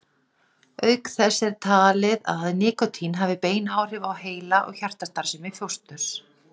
Auk þessa er talið að nikótín hafi bein áhrif á heila- og hjartastarfsemi fósturs.